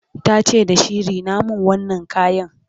tace da shi"Rina min wannan kayan!"